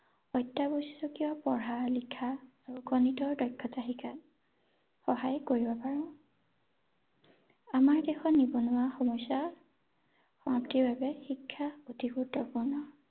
অত্যাৱশ্যকীয় পঢ়া লিখা আৰু গণিতৰ দক্ষ্যতা শিকাত সহায় কৰিব পাৰো ৷ আমাৰ দেশৰ নিবনুৱা সমস্যা সমাপ্তিৰ বাবে শিক্ষা অতি গুৰুত্বপূৰ্ণ ৷